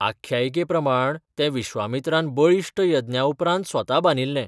आख्यायिके प्रमाण तें विश्वामित्रान बळिश्ट यज्ञा उपरांत स्वता बांदिल्लें.